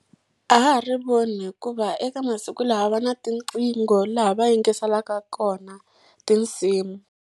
A ha ha ri voni hikuva eka masiku lawa va na tiqingho laha va yingiselaka kona tinsimu.